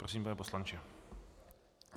Prosím, pane poslanče.